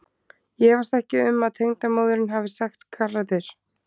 Ég efast ekki um að tengdamóðirin hafi sagt garður.